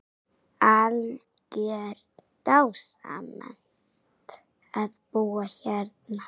Algjör dásemd að búa hérna.